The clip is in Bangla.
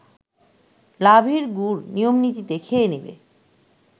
লাভের গুড় নিয়মনীতিতে খেয়ে নেবে